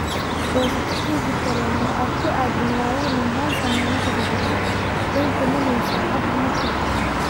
goosato tigidh tareen oo aad ku aado magaalada Mombasa maalintii saddexaad, dan kama lihi saacadu markay tahay